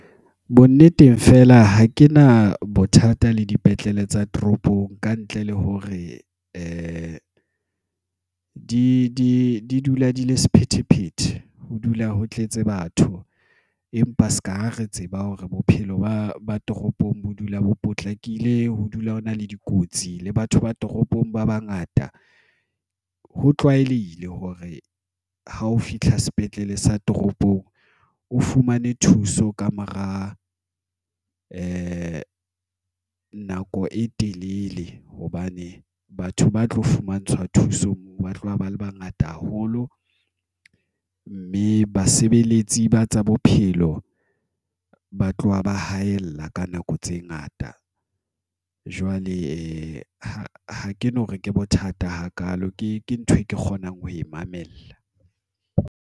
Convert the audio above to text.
Bo nneteng fela ha ke na bothata le dipetlele tsa toropong, ka ntle le hore di dula di le sephethephethe, ho dula ho tletse batho, empa se ka ha re tseba hore bophelo ba ba toropong bo dula bo potlakile, ho dula ho na le dikotsi le batho ba toropong ba bangata. Ho tlwaelehile hore ha o fihla sepetlele sa toropong, o fumane thuso ka mora e nako e telele hobane batho ba tlo fumantshwa thuso ba tloha ba le bangata haholo mme basebeletsi ba tsa bophelo ilo ba tloha ba haella ka nako tse ngata. Jwale ha ke no re ke bothata hakalo, ke ntho e ke kgonang ho e mamela.